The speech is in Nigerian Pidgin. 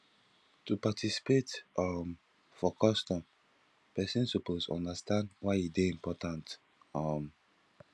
to participate um for customs persin suppose understand why e de important um